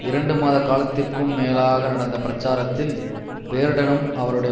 இரண்டுமாத காலத்திற்கும் மேலாக நடந்த பிரச்சாரத்தில் பேர்ட்டனும் அவருடைய